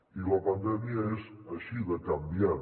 i la pandèmia és així de canviant